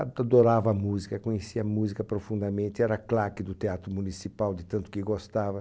Adorava música, conhecia música profundamente, era claque do teatro municipal de tanto que gostava.